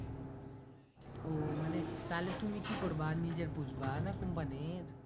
উহ মানে তাহলে তুমি কি করব নিজের পুষবা না company এর